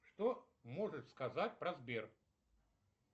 что можешь сказать про сбер